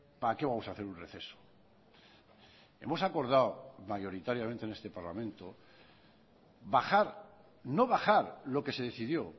para qué vamos a hacer un receso hemos acordado mayoritariamente en este parlamento bajar no bajar lo que se decidió